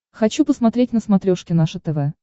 хочу посмотреть на смотрешке наше тв